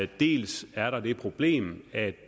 dels er der det problem at